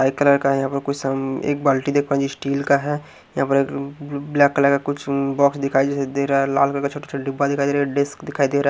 white colour है यहाँ पर कुछ सम्म एक बाल्टी देखो स्टील का है यहाँ पर एक ल ल ब्लैक कलर का कुछ उन बॉक्स दिखाई जैसे दे रहा है लाल कलर का छोटा छोटा डब्बा दिखाई दे रहे है डेस्क दिखाई दे रहा --